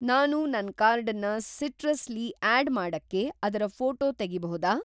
ನಾನು ನನ್‌ ಕಾರ್ಡನ್ನ ಸಿಟ್ರಸ್ ಲಿ ಆಡ್‌ ಮಾಡಕ್ಕೆ ಅದರ ಫ಼ೋಟೋ ತೆಗಿಬಹುದಾ?